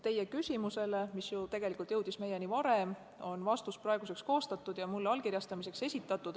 Teie küsimusele, mis tegelikult jõudis meieni varem, on vastus praeguseks koostatud ja mulle allkirjastamiseks esitatud.